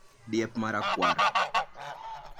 Diep mara kwar